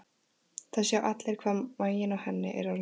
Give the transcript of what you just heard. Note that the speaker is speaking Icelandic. Það sjá allir hvað maginn á henni er orðinn stór.